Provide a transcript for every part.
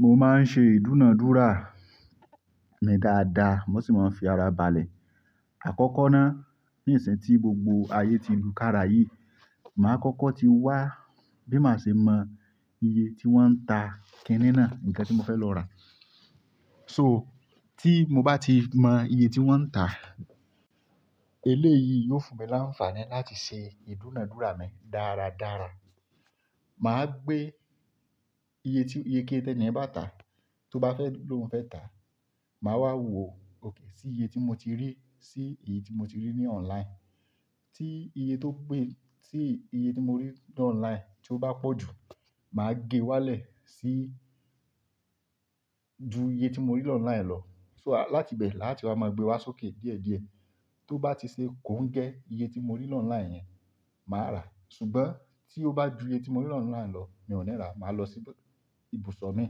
Mo máa ń ṣe ìdúnàádúrà mi dáadáa, mo sì máa ń fi ara balẹ̀. Àkọ́kọ́ ná, ní ìsìn ti gbogbo ayé ti lu kára yìí, màá kọ́kọ́ ti wá bí màá ṣe mọ iye tí wọ́n ń ta kínní ná, nǹkan tí mo fẹ́ lọ rà. So tí mo bá ti mọ iye tí wọ́n ń tà, eléyìí yóò fún mi láǹfààní láti ṣe ìdúnàádúrà mi dáradára. Màá gbé iye tí iye kí ẹniyẹn bá tà, tó bá fẹ́ lóhùn fẹ́ tà, màá wá wò ókè sí iye tí mo ti rí, sí èyí tí mo ti rí ní online. Tí iye tó pé tí iye tí mo rí ní online tí ó bá pọ̀ jù, màá gé wálẹ̀ sí ju iye tí mo rí lọ online lọ. So láti bẹ̀ láti wá máa gbé wá sókè díẹ̀díẹ̀. Tó bá ti ṣe kò ń gẹ iye tí mo rí lọ online yẹn, màá rà. Ṣùgbọ́n tí ó bá ju iye tí mo rí lọ online lọ, mi ò ní rà, màá lọ sí ibùsọ̀ mi.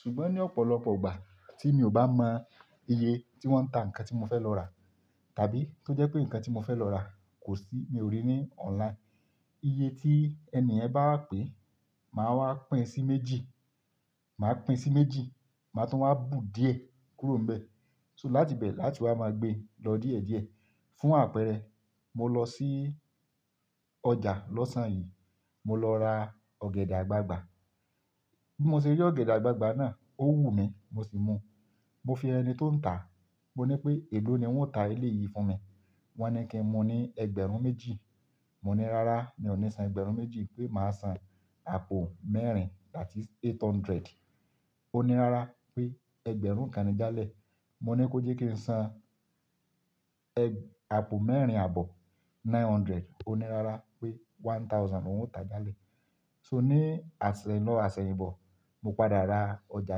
Ṣùgbọ́n ní ọ̀pọ̀lọpọ̀ igbà tí mi ò bá mọ iye tí wọ́n ń ta nǹkan tí mo fẹ́ lọ rà, tàbí tó jẹ́ pé nǹkan tí mo fẹ́ lọ rà kò sí, mi ò rí ní online. Iye tí ẹni yẹn bá wá pè, màá wá pín sí méjì, màá pín sí méjì, màá tún wá bù díẹ̀ kúrò níbẹ̀. So láti bẹ̀ láti wá máa gbé lọ díẹ̀díẹ̀. Fún àpẹẹrẹ, mo lọ sí ọjà lọ́sàn-án yìí, mo lọ ra ọ̀gẹ̀dẹ̀ àgbagbà. Bí mo ṣe rí ọ̀gẹ̀dẹ̀ àgbagbà náà, ó wù mí, mo sì mu. Mo fi ẹni tó ń tà, mo ní pé èló ni wọ́n ó ta eléyìí fún mi? Wọ́n ní kí n mu ní ẹgbẹ̀rún méjì. Mo ní, "Rárá, mi ò ní san ẹgbẹ̀rún méjì pé màá san àpò mẹ́rin that is eight hundred." Ó ní, "Rárá" pé ẹgbẹ̀rún kàn ni jálẹ̀. Mo ní kó jẹ́ kí n san ẹg-àpò mẹ́rin àbọ̀, nine hundred. Ó ní, "Rárá" pé one thousand ló ń tà jálẹ̀. So ní àsẹ̀lọ̀ àsẹ̀yìn bọ̀, mo padà ra ọjà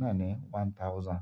náà ni one thousand.